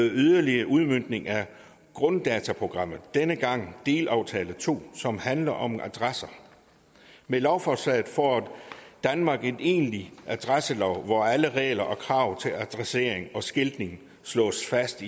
yderligere udmøntning af grunddataprogrammet denne gang af delaftale to som handler om adresser med lovforslaget får danmark en egentlig adresselov hvor alle regler om og krav til adressering og skiltning slås fast